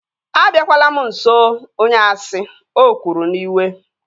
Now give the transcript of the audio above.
Abiakwala m nso onye asị! O kwuru n'iwe